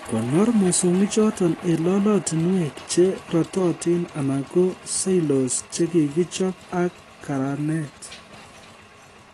Konor mosongichoto eng lolotinwek che rototin anan ko silos chekikichob ak karanet